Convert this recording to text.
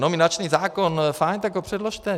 Nominační zákon - fajn, tak ho předložte.